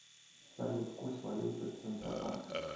салют курс валюты центробанка